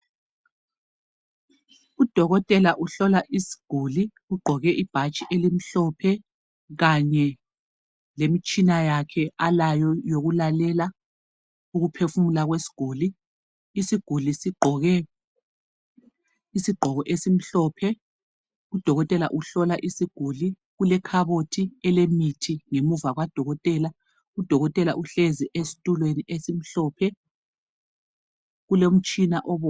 Udokotela uhlola isiguli ugqoke ibhatshi elimhlophe kanye lemitshini yakhe alayo yokulalela ukuphefumula kwesiguli isiguli sigqoke isigqoke esimhlophe udokotela uhlola isiguli kulekhabothi elemithi ngemuva kukadokotela udokotela uhlezi ezitulweni esimhlophe ulomtshina obomvu